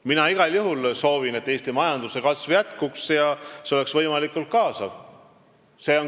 Mina igal juhul soovin, et Eesti majanduse kasv jätkuks ja see oleks võimalikult kaasav.